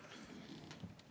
Aitäh!